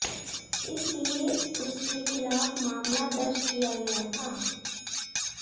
इसलिए उसके खिलाफ मामला दर्ज किया गया था